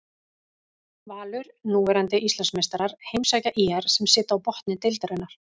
Valur, núverandi Íslandsmeistarar heimsækja ÍR sem sitja á botni deildarinnar.